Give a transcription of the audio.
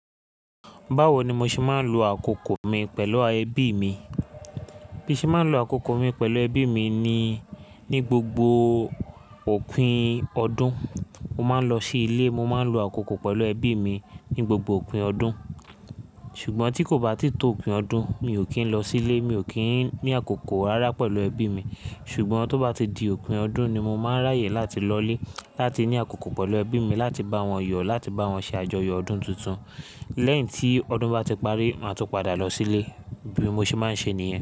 Báwo ni mo ṣe máa ń lo àkókò mi pẹ̀lú ẹbí mi? Bí mo ṣe máa ń lo àkókò mi pẹ̀lú ẹbí mi ni, ní gbogbo òpin ọdún, mo máa ń lọ sí ilé. Mo máa ń lo àkókò pẹ̀lú ẹbí mi ní gbogbo òpin ọdún. Ṣùgbọ́n tí kò bá tíì tó òpin ọdún, mi ò kí ń lọ sílé. Mi ò kí ń ní àkókò rárá pẹ̀lú ẹbí mi. Ṣùgbọ́n tó bá ti di òpin ọdún ni mo máa ń ráyè láti lọlé láti ní àkókò pẹ̀lú ẹbí mi, láti bá wọn yọ, láti bá wọn ṣe àjọyọ̀ ọdún tuntun. Lẹ́yìn tí ọdún bá ti parí, máa tún padà lọ sílé. Bí mo ṣe máa ń ṣe nìyẹn.